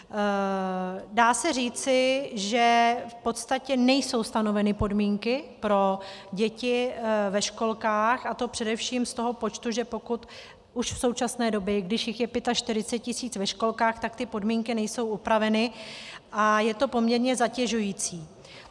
Dá se říci, že v podstatě nejsou stanoveny podmínky pro děti ve školkách, a to především z toho počtu, že pokud už v současné době, když jich je 45 000 ve školkách, tak ty podmínky nejsou upraveny a je to poměrně zatěžující.